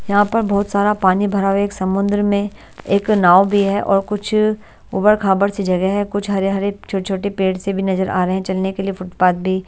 यहाँ पर बहुत सारा पानी भरा हुआ एक समुंद्र में एक नाव भी है और कुछ ऊबर-खाबर सी जगह है कुछ हरे-हरे छोटे-छोटे पेड़ से भी नजर आ रहे हैं चलने के लिए फुटपाथ भी--